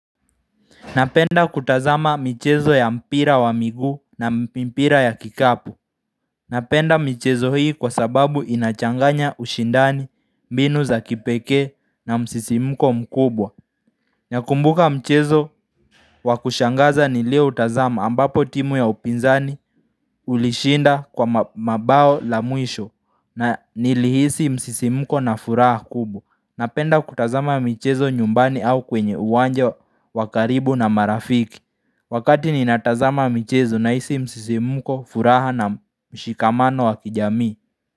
Napenda kutazama michezo ya mpira wa miguu na mpira ya kikapu Napenda michezo hii kwa sababu inachanganya ushindani mbinu za kipekee na msisimuko mkubwa Nakumbuka mchezo wakushangaza nilio utazama ambapo timu ya upinzani ulishinda kwa mabao la mwisho na nilihisi msisimuko na furaha kubwa Napenda kutazama michezo nyumbani au kwenye uwanja wakaribu na marafiki Wakati ni natazama michezo na isi msisi muko furaha na mshikamano wa kijamii.